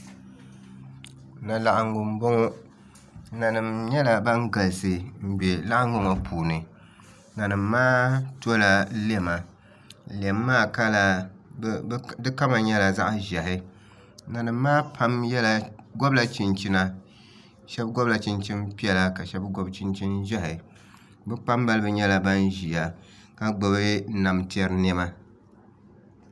Na laɣangu n boŋo nanim nyɛla bin galisi n bɛ laɣangu ŋo puuni nanim maa tola lɛma lɛm maa kama nyɛla zaɣ ʒiɛhi nanim maa pam gobla chinchina shab gobla chinchin piɛla ka shab gobi chinchin ʒiɛhi bi kpambalibi nyɛla ban ʒiya ka gbubi nam tiɛri